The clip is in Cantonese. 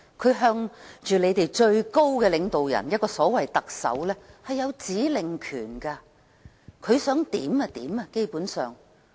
北京對着我們的最高領導人，所謂特首有指令權，基本上北京想怎樣便怎樣。